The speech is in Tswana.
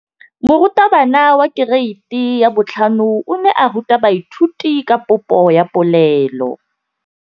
Moratabana wa kereiti ya 5 o ne a ruta baithuti ka popô ya polelô.